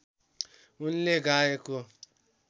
उनले गाएको